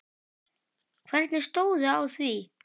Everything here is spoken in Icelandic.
Hverjir stóðu að því?